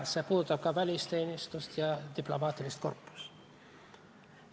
See puudutab ka välisteenistust ja diplomaatilist korpust.